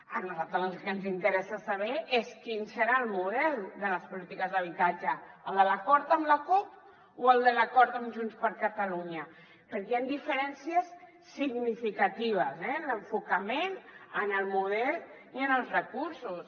a nosaltres el que ens interessa saber és quin serà el model de les polítiques d’habitatge el de l’acord amb la cup o el de l’acord amb junts per catalunya perquè hi han diferències significatives eh en l’enfocament en el model i en els recursos